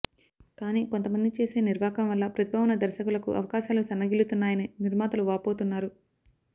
కానీ కొంతమంది చేసే నిర్వాకం వల్ల ప్రతిభ ఉన్న దర్శకులకు అవకాశాలు సన్నగిల్లుతున్నాయని నిర్మాతలు వాపోతున్నారు